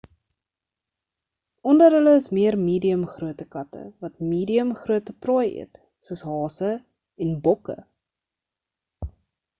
onder hulle is meer medium grootte katte wat medium grootte prooi eet soos hase en bokke